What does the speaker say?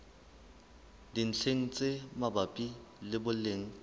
dintlheng tse mabapi le boleng